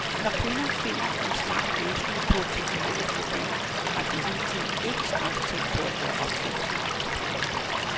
Når kvinder finder en smart løsning på et teknologisk problem, har de hidtil ikke straks tænkt på at gøre opfindelsen om til penge.